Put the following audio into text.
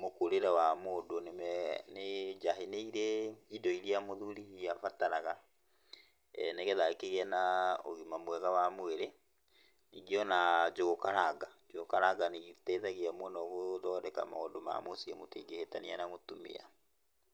mũkũrĩre wa mũndũ nĩme nĩ njahĩ nĩirĩ indo iria mũthuri abataraga nĩgetha akĩgĩe na ũgima mwega wa mwĩrĩ, ningĩ ona njũgũ karanga, njũgũ karanga nĩiteithagia mũno gũthondeka maũndũ ma mũciĩ mũtingĩhĩtania na mũtumia.